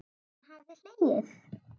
Hann hafði hlegið.